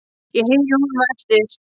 Ég heyri í honum á eftir.